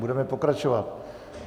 Budeme pokračovat.